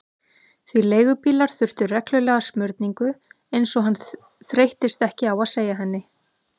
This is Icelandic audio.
Því leigubílar þurftu reglulega smurningu, eins og hann þreyttist ekki á að segja henni.